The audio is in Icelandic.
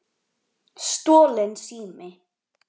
Stolinn sími